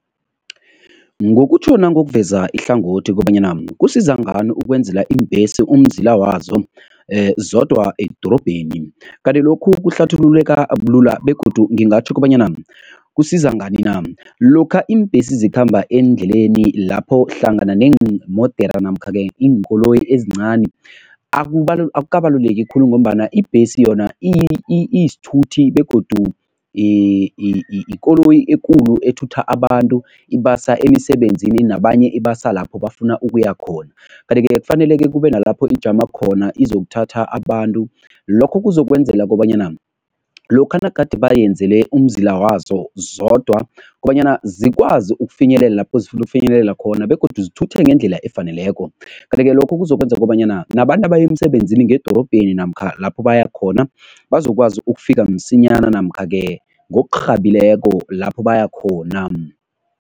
Ngokutjho nangokuveza ihlangothi kobanyana kusiza ngani ukwenzela iimbhesi umzila wazo zodwa edorobheni? Kanti lokhu kuhlathululeka bulula begodu ngingatjho kobanyana kusiza ngani na? Lokha iimbhesi zikhamba eendleleni lapho hlangana neemodere namkha-ke iinkoloyi ezincani, akukabaluleki khulu ngombana ibhesi yona iyisithuthi begodu ikoloyi ekulu ethutha abantu, ibasa emisebenzini nabanye ibasa lapho bafuna ukuya khona, kanti-ke kufaneleke kube nalapho ijama khona izokuthatha abantu. Lokho kuzokwenzela kobanyana lokha nagade bayenzele umzila wazo zodwa kobanyana zikwazi ukufinyelela lapho zifuna ukufinyelela khona begodu zithuthe ngendlela efaneleko, kanti-ke lokho kuzokwenza kobanyana nabantu abaya emisebenzini ngedorobheni namkha lapho baya khona bazokwazi ukufika msinyana namkha-ke ngokurhabileko lapho baya khona.